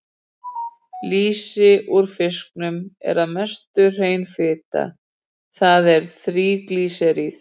Lýsi úr fiskum er að mestu hrein fita, það er þríglýseríð.